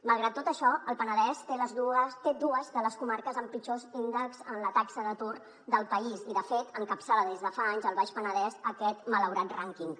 malgrat tot això el penedès té dues de les comarques amb els pitjors índexs en la taxa d’atur del país i de fet encapçala des de fa anys el baix penedès aquest malaurat rànquing